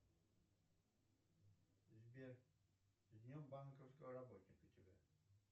сбер с днем банковского работника тебя